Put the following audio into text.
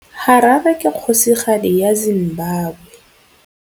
Harare ke kgosigadi ya Zimbabwe.